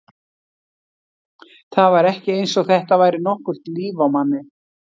Það var ekki eins og þetta væri nokkurt líf á manni.